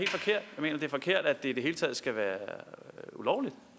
mener det er forkert at det i det hele taget skal være ulovligt